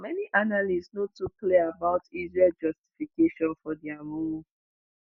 many analysts no too clear about israel justification for dia move.